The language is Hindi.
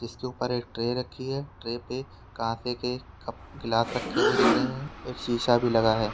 जिसके ऊपर एक ट्रे रखी है। ट्रे पे कांसे के कप ग्लास रखे हुए दिख रहे हैं। एक शीशा भी लगा है।